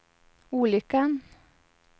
olyckan